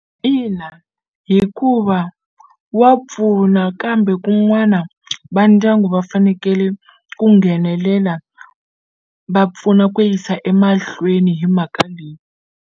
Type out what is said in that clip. Ina, hikuva wa pfuna kambe kun'wana va ndyangu va fanekele ku nghenelela va pfuna ku yisa emahlweni hi mhaka leyi.